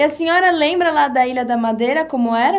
E a senhora lembra lá da Ilha da Madeira, como era?